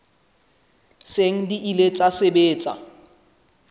seng di ile tsa sebetsa